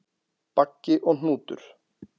Baggi og Hnútur,